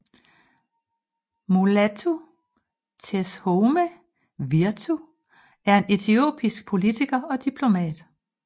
Mulatu Teshome Wirtu er en etiopisk politiker og diplomat